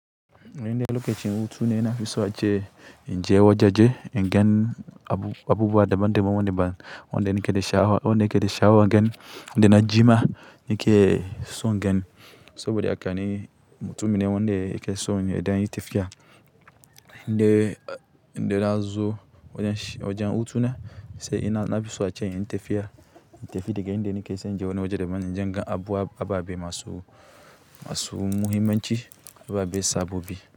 Inda lokacin hutune ina fiso a ce, in je wajaje, ingen abu-abubuwa daban-daban wanda ban, wanda nike da sha'awa, wanda yake da sha'awan geni, wanda na jima nake son geni. Saboda haka ni mutumine wanda yake son ya ɗan yi tafiya. Inde, inde na zo wajen shi, wajen hutune sai ina, na fi so ace inyi tafiya. In tafi daga inde nake sai in je wani waje da ban in je in ga abu, ababe masu, masu muhimmanci, ababe sabobi.